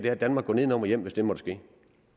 er at danmark går nedenom og hjem hvis det måtte